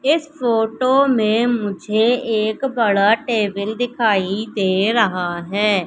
इस फोटो में मुझे एक बड़ा टेबल दिखाई दे रहा है।